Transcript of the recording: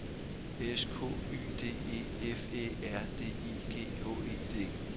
S K Y D E F Æ R D I G H E D